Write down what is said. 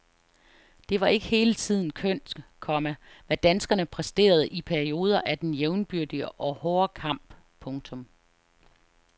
Det var ikke hele tiden kønt, komma hvad danskerne præsterede i perioder af den jævnbyrdige og hårde kamp. punktum